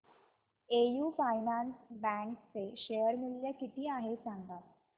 AU finance bank चे share मूल्य किती आहे सांगा